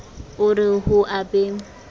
o re ho a be